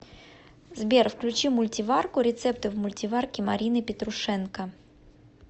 сбер включи мультиварку рецепты в мультиварке марины петрушенко